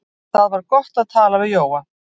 Það var gott að tala við Jóa.